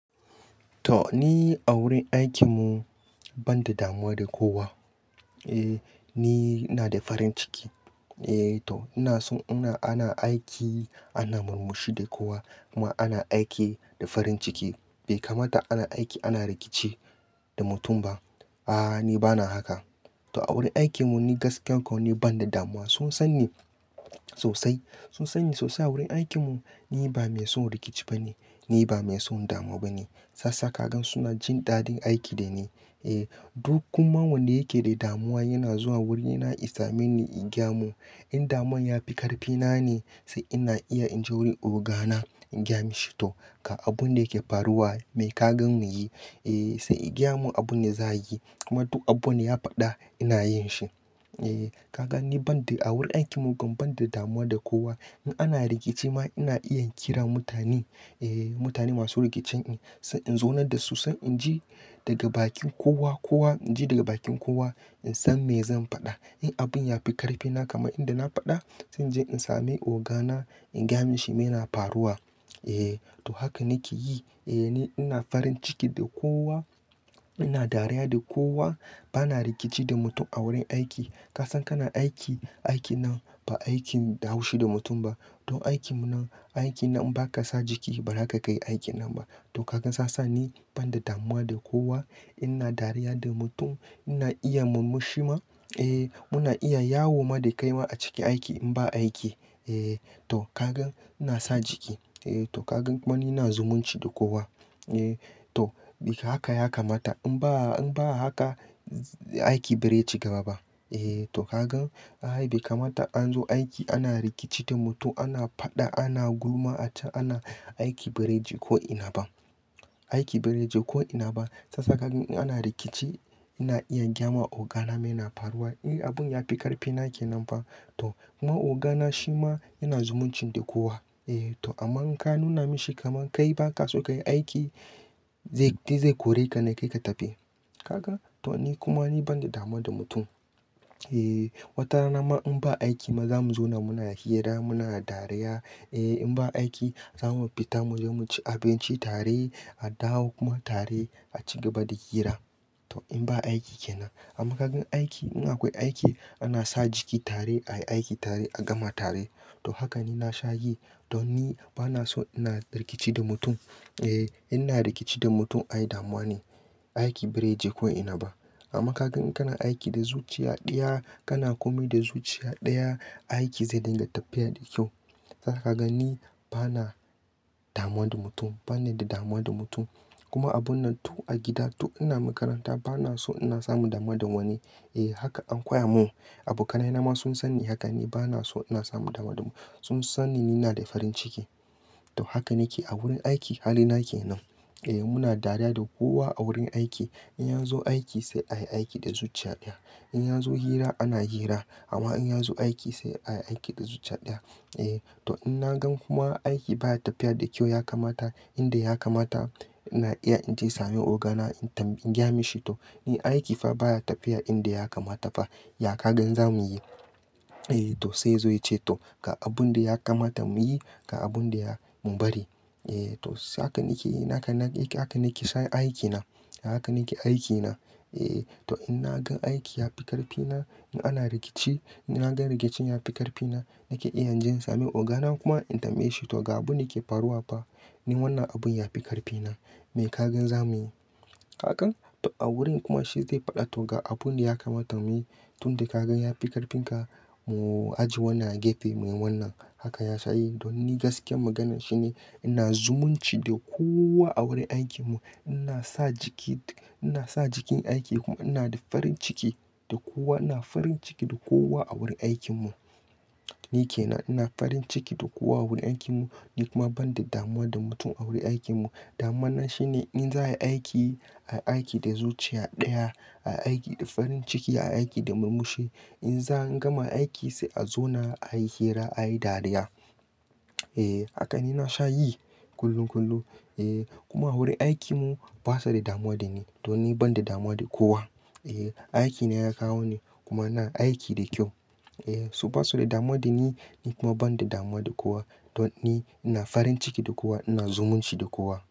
To ni a wurin aikin mu ban da damuwa da kowa. Eh, ni ina da farin ciki. Eh to ina so ina ana aiki ana murmushi da kowa kuma ana aiki da farin ciki. Bai kamata ana aiki ana rikici da mutum ba. A'a, ni bana haka. To a wurin aikin mu ni gaskiya kau ni ban da damuwa. Sun san ni sosai, sun san ni sosai a wurin aikin mu. Ni ba mai son rikici ba ne, ni ba mai son damuwa ba ne. Sassaka gan suna jin daɗin aiki da ni. Eh duk kuma wanda yake da damuwa yana zuwa wurina isa meni in gya mu. In damuwan ya fi ƙarfi na ne sai ina iya in je wurin oga na in gaya mashi to ga abun da yake faruwa me ka gan mu yi? Eh sai ya gaya mu abin da za a yi. Kuma duk abun da ya faɗa ina yin shi. Eh ka gan ni ban da a wurin aikin mu gum ban da damuwa da kowa. In ana rikici ma ina iya in kira mutane, eh mutane masu rikicen in. Sai in zaunadda su sai in ji daga bakin kowa kowa, in ji daga bakin kowa in san me zan faɗa. In abun ya fi ƙarfi na kaman inda na faɗa sai in je in sami oga na in gaya mashi me yana faruwa. Eh to haka nake yi. Eh ni ina farin ciki da kowa, ina dariya da kowa. Bana rikici da mutum a wurin aiki. Ka san kana aiki, aiki nan ba aikin da haushi da mutum ba. Don aikin mu nan, aiki nan in ba ka sa jiki ba zaka kai aikin nan ba. To ka gan sa sa ni ban da damuwa da kowa. Ina dariya da mutum, ina iya murmushi ma. Eh muna iya yawo ma da kai ma a cikin aiki in ba aiki. Eh to ka gan ina sa jiki. Eh to ka gan kuma ni ina zumunci da kowa. Eh to duka haka ya kamata. In ba in ba haka aiki bare cigaba ba. Eh to ka gan ai bai kamata an zo aiki ana rikici da mutum, ana faɗa, ana gulma a can ana aiki bare je ko ina ba. Aiki bai rage ko ina ba. Sasa kagan ni in ana rikici ina iya gaya ma oga na meye na faruwa. In abun ya fi ƙarfi na ke nan fa. To kuma oga na shi ma yana zumuncin da kowa. Eh to amma in ka nuna mashi kamar kai baka so kayi aiki zai, dai zai kore ka ne kai ka tafi. Ka gan? To ni kuma ni ban da damuwa da mutum. Eh wata rana ma in ba aiki ma zamu zauna muna hira muna dariya. Eh in ba aiki zamu fita muje mu ci abinci tare, a dawo kuma tare a ci gaba da hira. To in ba aiki kenan. Amma ka gan aiki in akwai aiki ana sa jiki tare, ayi aiki tare a gama tare. To haka ni na sha yi. To ni bana so ina rikici da mutum. Eh ina rikici da mutum ayi damuwa ne, aiki bare je ko ina ba. Amma ka gan in kana aiki da zuciya ɗaya kana kome da zuciya ɗaya, aiki zai dinga tafiya da kyau. Sasa ka gan ni bana damuwa da mutum, bani da damuwa da mutum. Kuma abun nan tun a gida tun ina makaranta bana so ina samu damuwa da wani. Eh haka an koya mun. Abokanai na ma sun san ni haka, ni bana so ina samu damuwa da mu. Sun san ni, ni na da farin ciki. To haka nake a wurin aiki halina ke nan. Eh muna dariya da kowa a wurin aiki. In ya zo aiki sai ayi aiki da zuciya ɗaya. In ya zo hira ana hira. Amma in ya zo aiki sai ayi aiki da zuciya ɗaya. Eh to in na gan kuma aiki baya tafiya da kyau ya kamata inda ya kamata ina iya in je sami oga na in tam- in gaya mishi to in aiki fa baya tafiya inda ya kamata fa ya ka gan za mu yi? Eh to sai yazo yace to ga abun da ya kamata mu yi, ga abun da ya mu bari. Eh to haka nake yi, haka nake, haka nake son aiki na. Haka nake aiki na. Eh to in na gan aiki ya fi ƙarfi na, in ana rikici, in na gan rikicin ya fi ƙarfi na, nake iya in je in sami oga na kuma in tamaye shi to ga abun da yake faruwa fa, ni wannan abun ya fi ƙarfi na. Me ka gan za mu yi? Hakan? To a wurin kuma shi zai faɗa to ga abun da ya kamata mu yi. Tun da ka gan ya fi ƙarfin ka mu ajiye wannan, a gefe muyi wannan. Haka ya sha yi. Don ni gaskiyar maganar shine ina zumunci da kowa a wurin aikin mu. Ina sa jiki, ina sa jikin aiki kuma ina da farin ciki da kowa. Ina farin ciki da kowa a wurin aikin mu. Ni ke nan, ina farin ciki da kowa a wurin aikin mu. Ni kuma ban da damuwa da mutum a wurin aikin mu. Damuwa na shine in za ai aiki, ai aiki da zuciya ɗaya, ai aiki da farin ciki, ay aiki da murmushi. In za an gama aiki sai a zauna ayi hira, ayi dariya. Eh haka ni na sha yi kullum kullum. Eh kuma a wurin aikin mu basa da damuwa da ni. To ni ban da damuwa da kowa. Eh aikina ya kawo ni kuma ina aiki da kyau. Eh su basu da damuwa da ni, ni kuma ban da damuwa da kowa. To ni ina farin ciki da kowa, ina zumunci da kowa.